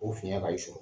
O fiɲɛ ka i sɔrɔ